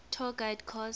tour guide course